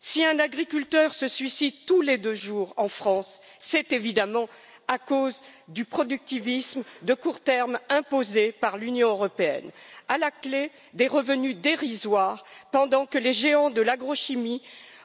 Si un agriculteur se suicide tous les deux jours en France, c'est évidemment à cause du productivisme de court terme imposé par l'Union européenne, avec à la clé, des revenus dérisoires, pendant que les géants de l'agrochimie